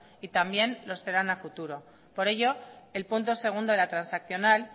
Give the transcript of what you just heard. y también lo serán a futuro por ello el punto dos de la transaccional